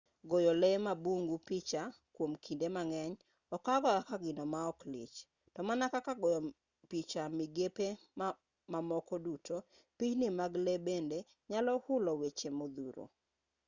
goyo lee mag bungu picha kwom kinde mang'eny okawga kaka gino maok lich to mana kaka goyo picha e migepe mamoko duto pichni mag lee bende nyalo hulo weche modhuro